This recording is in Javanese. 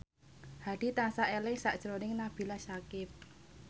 Hadi tansah eling sakjroning Nabila Syakieb